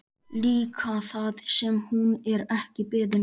Líka það sem hún er ekki beðin um.